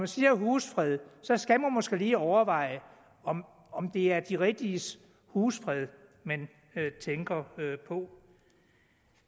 siger husfred så skal man måske lige overveje om om det er de rigtiges husfred man tænker på